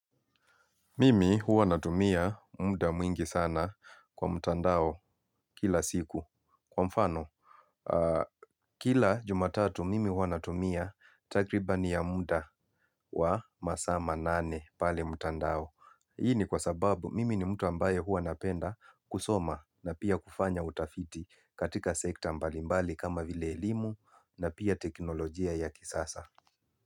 Mimi huwa natumia muda mwingi sana kwa mtandao kila siku. Kwa mfano, kila jumatatu mimi huwa natumia takribani ya muda wa masaa manane pale mtandao. Hii ni kwa sababu mimi ni mtu ambaye huwa napenda kusoma na pia kufanya utafiti katika sekta mbalimbali kama vile elimu na pia teknolojia ya kisasa.